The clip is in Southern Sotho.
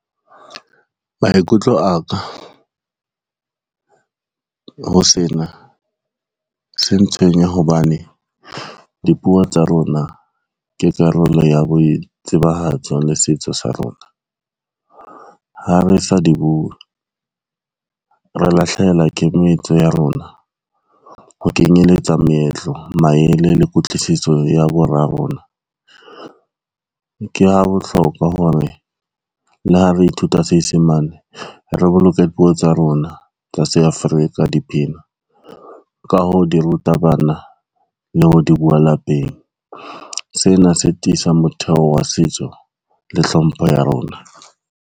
Maikutlo a ka, ho sena se ntshwenya hobane dipuo tsa rona ke karolo ya boitsebahatso le setso sa rona. Ha re sa di buwe re lahlehelwa ke metso ya rona ho kenyeletsa meetlo, maele le kutlwisiso ya bora rona. Ke ha bohlokwa hore le ha re ithuta Senyesemane re boloke dipuo tsa rona tsa se Africa, dipina ka ho di ruta bana le ho di bua lapeng. Sena se tiisa motheo wa setso le hlompho ya rona.